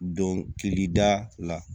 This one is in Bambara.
Donkilida la